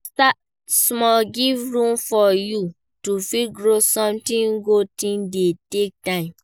Start small, give room for you to fit grow, sometimes good thing dey take time